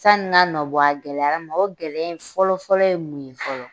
Sanni n ka nɔbɔ a la a gɛlɛyara n ma o gɛlɛya in fɔlɔfɔlɔ ye mun ye fɔlɔ